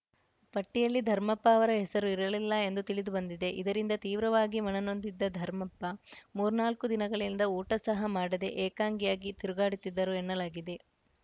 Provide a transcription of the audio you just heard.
ಪಟ್ಟಿಯಲ್ಲಿ ಧರ್ಮಪ್ಪ ಅವರ ಹೆಸರು ಇರಲಿಲ್ಲ ಎಂದು ತಿಳಿದುಬಂದಿದೆ ಇದರಿಂದ ತೀವ್ರವಾಗಿ ಮನನೊಂದಿದ್ದ ಧರ್ಮಪ್ಪ ಮೂರ್ನಾಲ್ಕು ದಿನಗಳಿಂದ ಊಟ ಸಹ ಮಾಡದೇ ಏಕಾಂಗಿಯಾಗಿ ತಿರುಗಾಡುತ್ತಿದ್ದರು ಎನ್ನಲಾಗಿದೆ